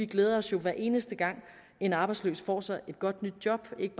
glæder os hver eneste gang en arbejdsløs får sig et godt nyt job ikke